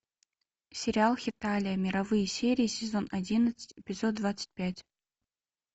сериал хеталия мировые серии сезон одиннадцать эпизод двадцать пять